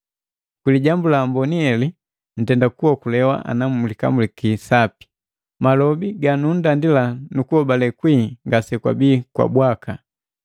Kwi Lijambu la Amboni heli ntenda kuokolewa, ana mkamulaki sapi. Malobi ganunndandila nukuhobale kwii ngasekwabii bwaka.